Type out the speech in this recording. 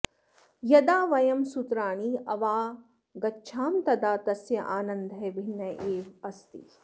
यदा वयं सूत्राणि अवागच्छाम तदा तस्य आनन्दः भिन्नः एव अस्ति